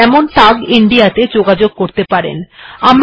উদাহরণস্বরূপআপনি tag India তে য়য়ায়োগ করতে পারেন